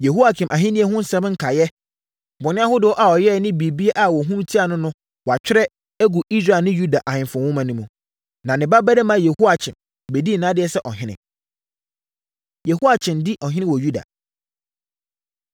Yehoiakim ahennie ho nsɛm nkaeɛ, bɔne ahodoɔ a ɔyɛeɛ ne biribiara a wɔhunu tiaa no no wɔatwerɛ, agu Israel ne Yuda Ahemfo Nwoma mu. Na ne babarima Yehoiakyin bɛdii nʼadeɛ sɛ ɔhene. Yehoiakyin Di Ɔhene Wɔ Yuda